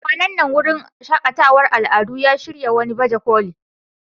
Kwanan nan wurin shaƙatawar al'adu ya shirya wani baje koli.